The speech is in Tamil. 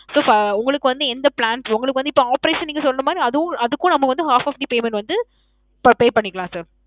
sir ~ உங்களுக்கு வந்து எந்த plans, உங்களுக்கு வந்து இப்போ operation நீங்க சொல்லனுமா இல்ல அதும் அதுக்கும் நாம வந்து half of the payment வந்து pay பண்ணிக்கலாம் sir.